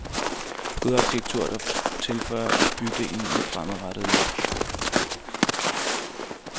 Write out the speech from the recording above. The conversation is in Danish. God arkitektur, der tilføjer bydelen et fremadrettet løft.